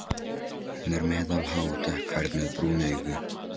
Hún er meðalhá og dökkhærð með brún augu.